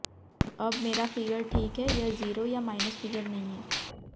अब मेरा फिगर ठीक है यह जीरो या माइनस फिगर नहीं है